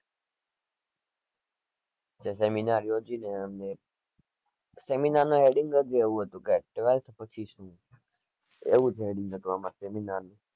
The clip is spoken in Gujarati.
seminar યોજી ને અમે seminar નું heading જ એવું હતું કે twelfth પછી શું એવું જ heading હતું અમારા seminar નું